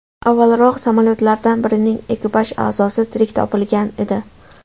Avvalroq, samolyotlardan birining ekipaj a’zosi tirik topilgan edi.